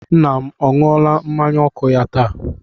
Nna m ọ ṅụọla mmanya ọkụ ya taa?